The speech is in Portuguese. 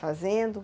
Fazendo.